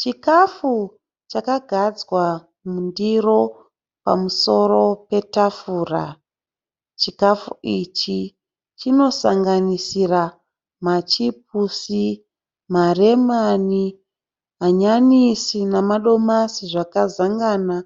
Chikafu chakagadzwa mundiro pamusoro petafura. Chikafu ichi chinosanganisira machipisi, maremoni, manyanisi nemadomasi zvakazanganiswa,